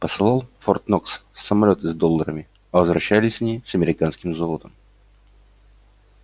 посылал в форт-нокс самолёты с долларами а возвращались они с американским золотом